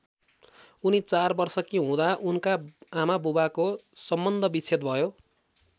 उनी ४ वर्षकी हुँदा उनका आमाबुवाको सम्बन्धविच्छेद भयो।